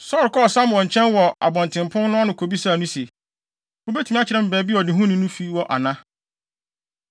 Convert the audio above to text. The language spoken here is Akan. Saulo kɔɔ Samuel nkyɛn wɔ abɔntenpon no ano kobisaa no se, “Wubetumi akyerɛ me baabi a ɔdehufo no fi wɔ ana?”